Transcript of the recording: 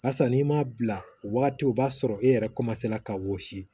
Barisa n'i m'a bila o waati o b'a sɔrɔ e yɛrɛ ka wɔsi